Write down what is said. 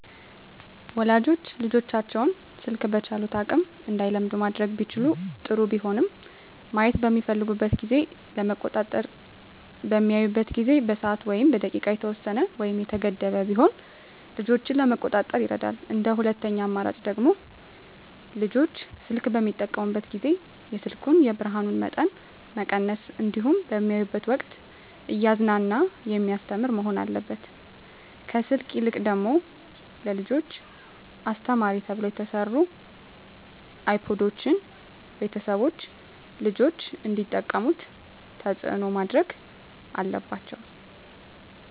ወላጆች ልጆቻቸውን ስልክ በቻሉት አቅም እንዳይለምዱ ማድረግ ቢችሉ ጥሩ ቢሆንም ማየት በሚፈልጉበት ጊዜ ለመቆጣጠር በሚያዩበት ጊዜ በሰዓት ወይም በደቂቃ የተወሰነ ወይም የተገደበ ቢሆን ልጆችን ለመቆጣጠር ይረዳል እንደ ሁለተኛ አማራጭ ደግሞ ልጆች ስልክ በሚጠቀሙበት ጊዜ የስልኩን የብርሀኑን መጠን መቀነስ እንዲሁም በሚያዩበት ወቅትም እያዝናና በሚያስተምር መሆን አለበት ከስልክ ይልቅ ደግሞ ለልጆች አስተማሪ ተብለው የተሰሩ አይፓዶችን ቤተሰቦች ልጆች እንዲጠቀሙት ተፅዕኖ ማድረግ አለባቸው።